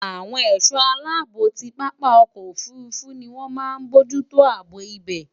Awon è̩só̩ aláàbò ti pápá o̩kò̩ òfurufu ni wón máa n mójútó àbò ibè̩.